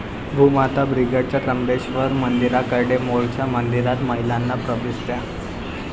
भूमाता ब्रिगेडचा त्र्यंबकेश्वर मंदिराकडे 'मोर्चा', मंदिरात महिलांना प्रवेश द्या!